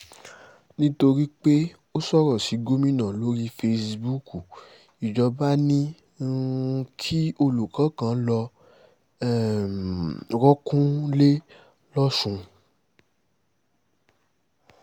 nítorí pé ó sọ̀rọ̀ sí gómìnà lórí fesibúùkù ìjọba ni um kí olùkọ́ kan lọ́ọ́ um rọ́ọ̀kùn nílẹ̀ lọ́sùn